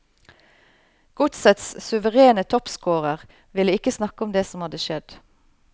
Godsets suverene toppscorer ville ikke snakke om det som hadde skjedd.